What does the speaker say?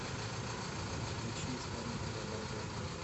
включи исполнителя бахрома